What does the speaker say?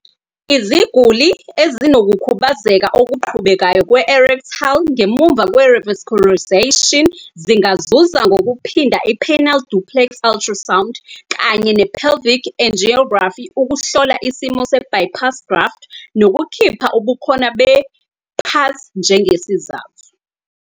Iziguli ezinokukhubazeka okuqhubekayo kwe-erectile ngemuva kwe-revascularization zingazuza ngokuphinda i-penile duplex ultrasound kanye ne-pelvic angiography ukuhlola isimo se-bypass graft nokukhipha ubukhona be-PASS njengesizathu.